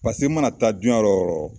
Paseke n mana taa duyan yɔrɔ o yɔrɔ